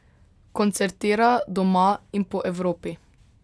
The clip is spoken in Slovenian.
Koncertira doma in po Evropi.